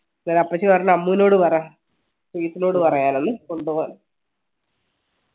അന്നേരം അപ്പച്ചി പറഞ്ഞ് അമ്മുനോട് പറ ശ്രീ നോട് പറയാൻ എന്ന്